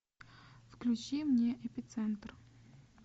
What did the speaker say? включи мне эпицентр